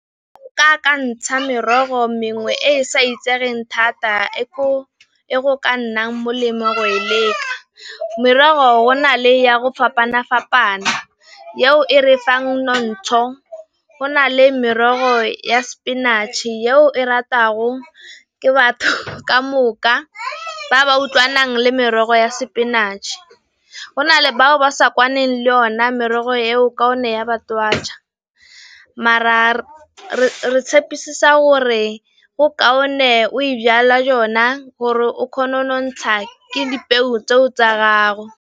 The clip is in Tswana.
Akantsha merogo mengwe e e sa itsegeng thata e go ka nnang molemo go e leka, merogo na le ya go fapana-fapana, yeo e re fang notsho, go nale merogo ya sepinatšhe yo e ratago ke batho ka moka, ba ba utlwana le merogo ya sepinatšhe. Go na le bao ba sa kwaneng le yona merogo eo ka one ya ba twatjha, mara re tshepisa gore go kaone o e jala jona gore o kgona go nontsha ke dipeo tseo tsa gago.